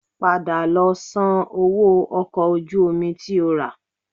Padà lọ sanwó ọkọ̀ ojú omi tí o rà